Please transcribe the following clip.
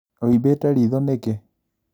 Uimbite ritho nĩkĩ?